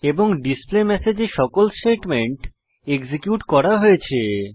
এবং ডিসপ্লেমেসেজ এ সকল স্টেটমেন্ট এক্সিকিউট করা হয়েছে